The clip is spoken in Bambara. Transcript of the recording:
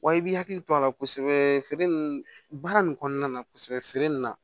Wa i b'i hakili to a la kosɛbɛ feere baara nin kɔnɔna na kosɛbɛ feere na